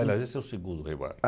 Aliás, esse é o segundo Rei Mago.